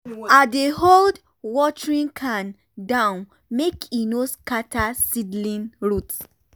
i dey hold watering can down make e no scatter seedling root.